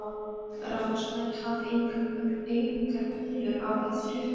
Ráðsmaður hafði engar vöflur á, fékk